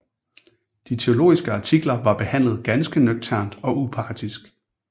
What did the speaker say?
De teologiske artikler var behandlet ganske nøgternt og upartisk